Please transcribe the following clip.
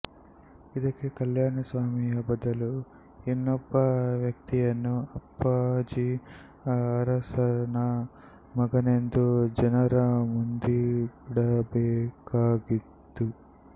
ಇದಕ್ಕೆ ಕಲ್ಯಾಣಸ್ವಾಮಿಯ ಬದಲು ಇನ್ನೊಬ್ಬ ವ್ಯಕ್ತಿಯನ್ನು ಅಪ್ಪಾಜಿ ಅರಸನ ಮಗನೆಂದು ಜನರ ಮುಂದಿಡಬೇಕಾಗಿದ್ದಿತು